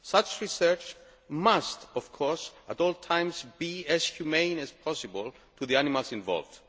Such research must of course at all times be as humane as possible to the animals involved.